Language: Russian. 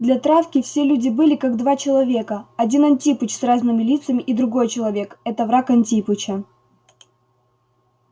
для травки все люди были как два человека один антипыч с разными лицами и другой человек это враг антипыча